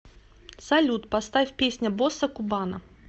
салют поставь песня босса кубана